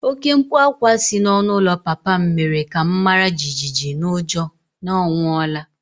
Oké mkpu ákwá si n'ọnụ ụlọ papa m mere ka m mara jijiji n'ụjọ na ọ nwụọla